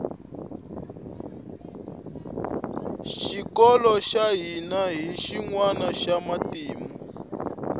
xikolo xa hina hi xinwana xa matimu